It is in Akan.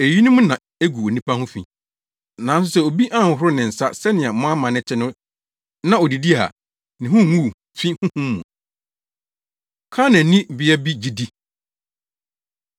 Eyinom na egu onipa ho fi. Nanso sɛ obi anhohoro ne nsa sɛnea mo amanne te no na odidi a, ne ho nguu fi honhom mu.” Kanaanni Bea Bi Gyidi